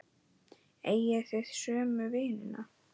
Eigið þið sömu vinina?